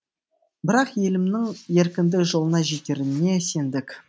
бірақ елімнің еркіндік жолына жетеріне сендік